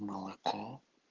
молоко